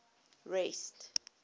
rest